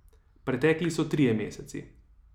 Pretekli so trije meseci.